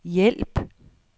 hjælp